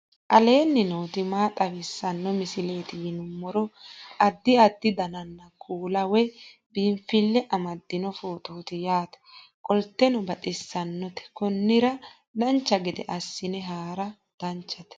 aleenni nooti maa xawisanno misileeti yinummoro addi addi dananna kuula woy biinsille amaddino footooti yaate qoltenno baxissannote konnira dancha gede assine haara danchate